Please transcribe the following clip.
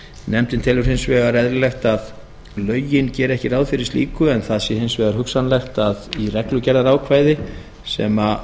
nefndin telur hins vegar eðlilegt að lögin geri ekki ráð fyrir slíku en það sé hins vegar hugsanlegt að í reglugerðarákvæði sem